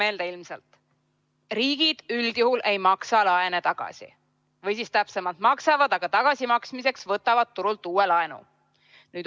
Tuletan meelde: riigid üldjuhul ei maksa laene tagasi, täpsemalt, maksavad, aga tagasimaksmiseks võtavad turult uue laenu.